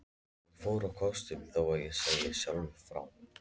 Ég fór á kostum, þó ég segi sjálfur frá.